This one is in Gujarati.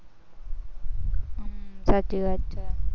સાચી વાત છે.